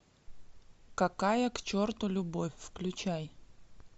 какая к черту любовь включай